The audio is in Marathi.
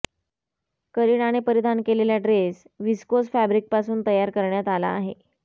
करीनाने परिधान केलेला ड्रेस व्हिस्कोस फॅब्रिकपासून तयार करण्यात आला आहे